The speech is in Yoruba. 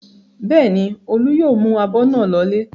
Bẹ́ẹ̀ ni, Olú yóò mú abọ́ náà lọlé.